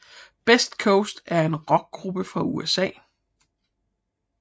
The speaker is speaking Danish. Best Coast er en Rockgruppe fra USA